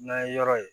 N'an ye yɔrɔ ye